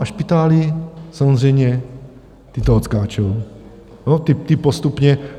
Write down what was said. A špitály samozřejmě, ty to odskáčou, ty postupně.